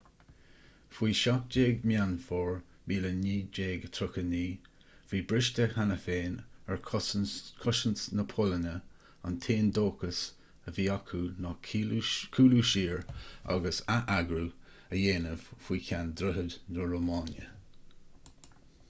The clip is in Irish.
faoi 17 meán fómhair 1939 bhí briste cheana féin ar chosaint na polainne an t-aon dóchas a bhí ann ná cúlú siar agus atheagrú a dhéanamh feadh cheann droichid na rómáine